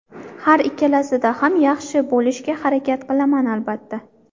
Har ikkalasida ham yaxshi bo‘lishga harakat qilaman, albatta.